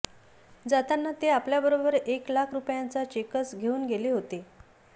जाताना ते आपल्याबरोबर एक लाख रुपयांचा चेकच घेऊन गेले होते